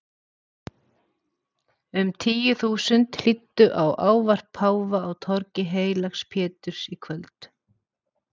Um tíu þúsund hlýddu á ávarp páfa á torgi heilags Péturs í kvöld.